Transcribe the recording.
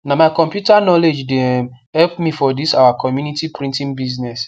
na my computer knowledge de um help me for this our community printing business